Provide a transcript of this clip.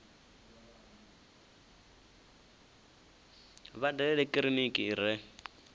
vha dalele kiliniki i re